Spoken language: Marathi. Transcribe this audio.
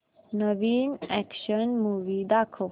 नवीन अॅक्शन मूवी दाखव